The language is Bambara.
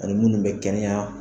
Ani munnu bɛ kɛnɛya.